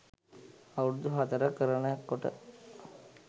අවුරුදු හතර කරන කොට